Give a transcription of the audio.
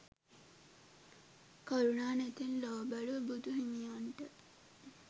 කරුණා නෙතින් ලොව බැලූ බුදු හිමියන්ට